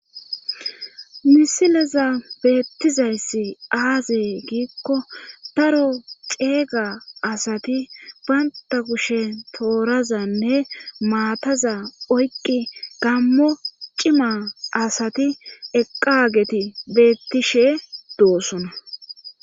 Misileza beettizayssi aazee giikko daro ceeyga asati baynta kushe toorazanne maataza oyqqi gammo cima asati eqqaageti beettishe doosona